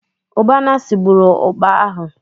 Ụbanne sigburu ụkpà ahụ.